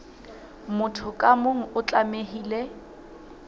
motho ka mong o tlamehile